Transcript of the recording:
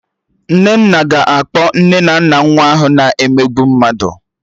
Nnenna ga-akpọ nne na nna nwa ahụ na-emegbu mmadụ